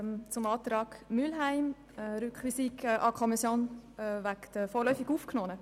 Zum Antrag Mühlheim auf Rückweisung an die Kommission betreffend die vorläufig Aufgenommenen: